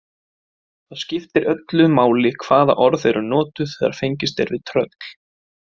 Það skiptir öllu máli hvaða orð eru notuð þegar fengist er við tröll.